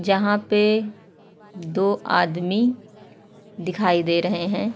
जहा पे दो आदमी दिखाई दे रहे हैं।